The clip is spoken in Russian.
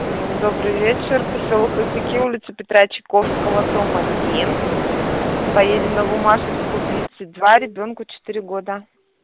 добрый вечер посёлок хохряки улица петра чайковского дом один поедем на буммашевскую тридцать два ребёнку четыре года